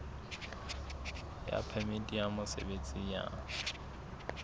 ya phemiti ya mosebetsi ya